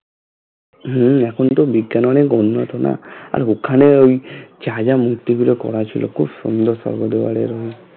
হম এখন তো বিজ্ঞান অনেক উন্নত না আর ওখানে ওই মূর্তি গুলো করা ছিল খুব সুন্দর